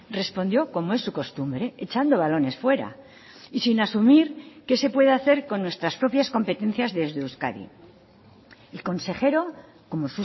respondió como es su costumbre echando balones fuera y sin asumir qué se puede hacer con nuestras propias competencias desde euskadi el consejero como